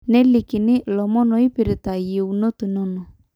nelikini ilomon oipirr`ta iyieunot inono